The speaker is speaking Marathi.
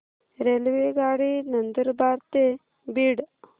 रेल्वेगाडी नंदुरबार ते बीड